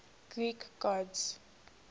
greek gods